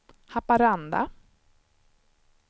Haparanda